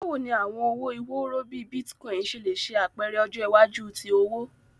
Bawo ni awọn owo iworo bii Bitcoin ṣe le ṣe apẹrẹ ọjọ iwaju ti owo?